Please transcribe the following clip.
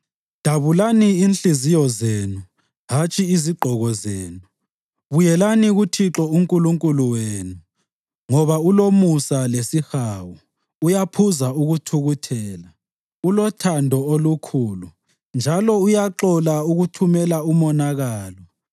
Dabulani inhliziyo zenu hatshi izigqoko zenu. Buyelani kuThixo uNkulunkulu wenu, ngoba ulomusa lesihawu, uyaphuza ukuthukuthela, ulothando olukhulu, njalo uyaxola ukuthumela umonakalo.